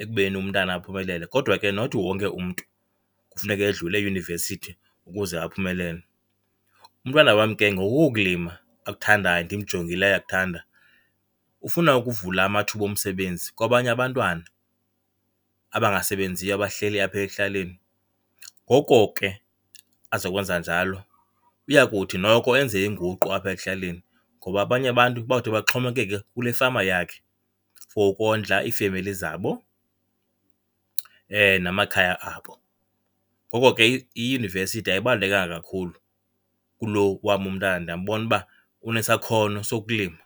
ekubeni umntana aphumelele kodwa ke not wonke umntu kufuneka edlule eyunivesithi ukuze aphumelele. Umntwana wam ke ngoku kulima akuthandayo, ndimjongile uyakuthanda, ufuna ukuvula amathuba omsebenzi kwabanye abantwana abangasebenziyo abahleli apha ekuhlaleni. Ngoko ke azokwenza njalo uya kuthi noko enze inguqu apha ekuhlaleni ngoba abanye abantu bawuthi baxhomekeke kule fama yakhe for ukondla iifemeli zabo namakhaya abo. Ngoko ke iyunivesithi ayibalulekanga kakhulu kulo wam umntana, ndiyambona uba unesakhono sokulima.